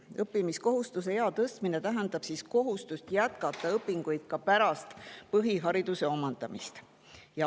Õppimiskohustuse ea tõstmine tähendab kohustust jätkata õpinguid ka pärast põhihariduse omandamist.